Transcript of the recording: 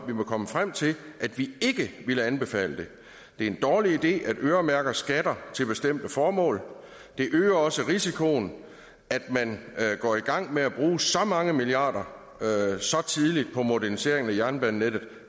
vi var kommet frem til at vi ikke ville anbefale det det er en dårlig idé at øremærke skatter til bestemte formål det øger også risikoen at man går i gang med at bruge så mange milliarder så tidligt på moderniseringen af jernbanenettet